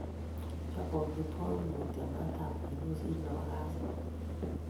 Chobei amitwogik mutyo maatab kwenik kosir nebo kasit